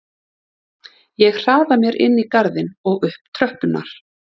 Ég hraða mér inn í garðinn og upp tröppurnar.